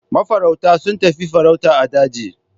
Mafarauta sun tafi farauta a daji.